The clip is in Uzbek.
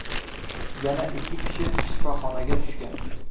Yana ikki kishi shifoxonaga tushgan.